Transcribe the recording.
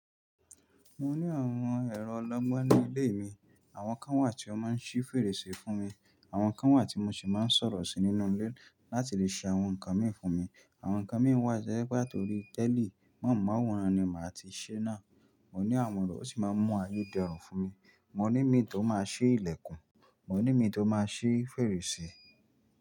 Mo ní àwọn èrò ọlọ́gbọ́n ní ilé mi. Àwọn kan wà tí wọ́n máa ń ṣí fèrèsé fún mi, àwọn kan wà tí mo sì máa ń sọ̀rọ̀ sí nínú ilé láti lè ṣe àwọn nǹkan mi fún mi. Àwọn nǹkan mi ń wà tojepe atorí tẹ́líì mohun maworan ní máa ti ṣẹ́ náà. Mo ní àwọn ìrọ́ o si máa ń mú ayé dẹrùn fún mi. Mo ní min tó máa ṣí ìlẹ̀kùn, mo ní min tó máa ṣí fèrèsé.